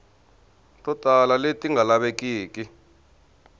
to tala leti nga lavekiki